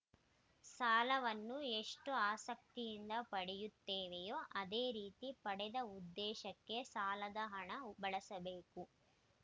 ಸಾಲವನ್ನು ಎಷ್ಟುಆಸಕ್ತಿಯಿಂದ ಪಡೆಯುತ್ತೇವೆಯೋ ಅದೇ ರೀತಿ ಪಡೆದ ಉದ್ದೇಶಕ್ಕೆ ಸಾಲದ ಹಣ ಬಳಸಬೇಕು